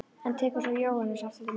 En svo tekur Jóhannes aftur til máls.